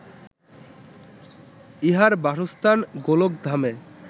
ইঁহার বাসস্থান গোলকধামে